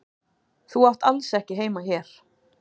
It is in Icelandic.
Þú átt alls ekki heima hér.